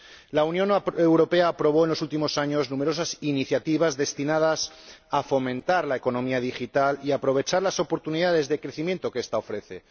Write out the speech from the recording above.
La Unión Europea aprobó en los últimos años numerosas iniciativas destinadas a fomentar la economía digital y a aprovechar las oportunidades de crecimiento que esta ofrece.